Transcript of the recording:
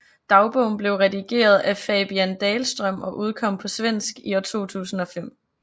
Dagbogen blev redigeret af Fabian Dahlström og udkom på svensk i 2005